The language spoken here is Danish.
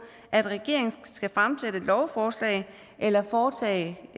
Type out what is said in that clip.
at regeringen skal fremsætte lovforslag eller foretage